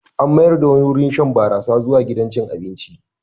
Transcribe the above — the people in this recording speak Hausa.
An mayar da wani wurin shan barasa zuwa gidan cin abinci.